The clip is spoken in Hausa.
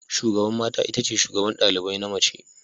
Shugaban mata itace shugaban ɗalibai na mace.